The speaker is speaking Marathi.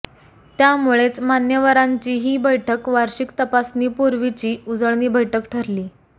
त्यामुळेच मान्यवरांची ही बैठक वार्षिक तपासणीपुर्वीची उजळणी बैठक ठरली